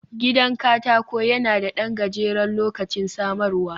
Gidan katako yana da ɗan gajeren lokacin samarwa